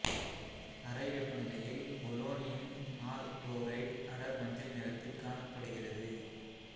அறை வெப்பநிலையில் பொலோனியம் நாற்குளோரைடு அடர் மஞ்சள் நிறத்தில் காணப்படுகிறது